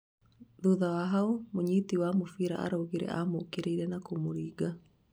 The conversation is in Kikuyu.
thutha wa haũ, mũnyiti wa mũbira arauga amukirirĩe na kumuringa